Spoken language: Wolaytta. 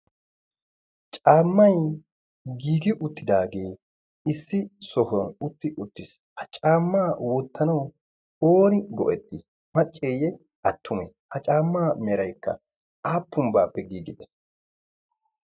caammai giigi uttidaagee issi sohuwan utti uttiis. ha caammaa wottanawu ooni go77etti macceeyye attume? ha caammaa meraikka aappunbbaappe giigide?